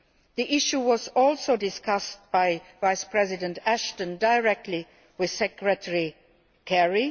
The issue was also discussed by Vice President Ashton directly with Secretary Kerry.